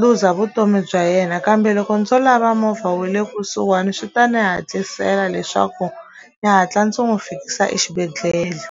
luza vutomi bya yena kambe loko ndzo lava movha wu le kusuhani swi ta ni hatlisela leswaku ndzi hatla ndzi n'wi fikisa exibedhlele.